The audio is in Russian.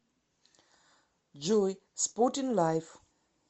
джой спортинг лайф